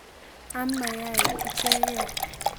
Am mayaiik ichekee